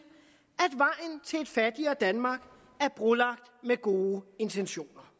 et fattigere danmark er brolagt med gode intentioner